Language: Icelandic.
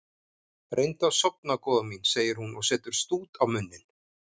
Reyndu að sofna góða mín, segir hún og setur stút á munninn.